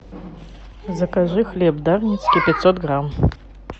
закажи хлеб дарницкий пятьсот грамм